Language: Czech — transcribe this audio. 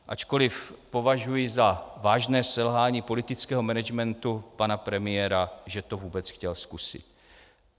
Ačkoliv považuji za vážné selhání politického managementu pana premiéra, že to vůbec chtěl zkusit.